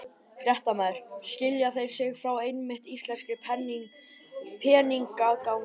Fréttamaður: Skilja þeir sig frá einmitt íslenskri peningamálastefnu?